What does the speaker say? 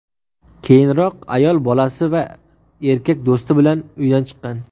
Keyinroq ayol bolasi va erkak do‘sti bilan uydan chiqqan.